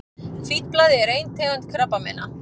Hvítblæði er ein tegund krabbameina.